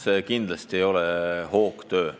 See kindlasti ei ole hoogtöö.